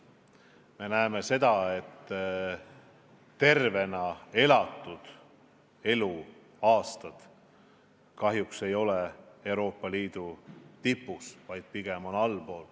Me näeme seda, et me pole oma tervena elatud aastate arvuga Euroopa Liidu tipus, vaid pigem allpool.